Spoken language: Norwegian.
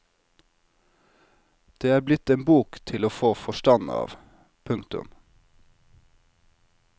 Det er blitt en bok til å få forstand av. punktum